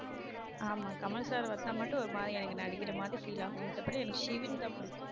ஆமா கமல் sir வந்தா மட்டும் ஒரு மாதிரி எனக்கு நடிக்கிற மாதிரி feel ஆகும் மத்தபடி எனக்கு ஷிவின்தான் பிடிக்கும்.